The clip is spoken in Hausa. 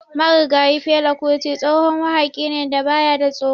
Marigayi Fela Kuti tsohon wahaƙi ne da baya da tsoro.